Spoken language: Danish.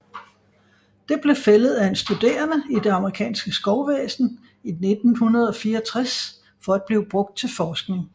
Det blev fældet af en studerende i det amerikanske skovvæsen i 1964 for at blive brugt til forskning